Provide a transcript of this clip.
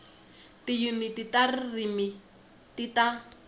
tiyuniti ta ririmi ti ta